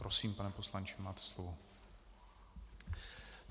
Prosím, pane poslanče, máte slovo.